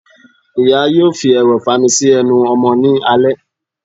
Iyá yóò fi erò ifamù si ẹnu ọmọ ni alẹ